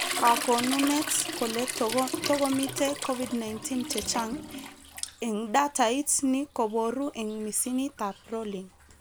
Kakonunet kole tokomite COVID-19,chechang eng datait ni keboru eng misinitab rolling